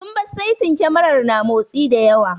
Sun bar saitin kyamarar na motsi da yawa.